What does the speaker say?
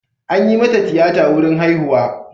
An yi mata tiyata wurin haihuwa.